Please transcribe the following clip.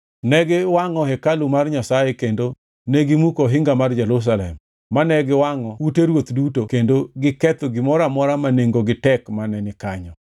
Ne giwangʼo hekalu mar Nyasaye kendo negimuko ohinga mar Jerusalem; mane giwangʼo ute ruoth duto kendo negiketho gimoro amora ma nengogi tek mane ni kanyo.